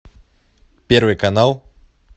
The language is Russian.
первый канал